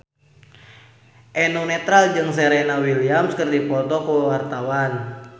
Eno Netral jeung Serena Williams keur dipoto ku wartawan